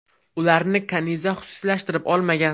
Ularni Kaniza xususiylashtirib olmagan.